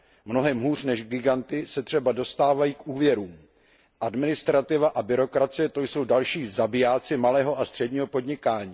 Mnohem hůř než giganty se třeba dostávají k úvěrům Administrativa a byrokracie, to jsou další zabijáci malého a středního podnikání.